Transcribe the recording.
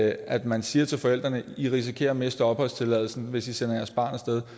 at man siger til forældrene at de risikerer at miste opholdstilladelsen hvis de sender deres barn af sted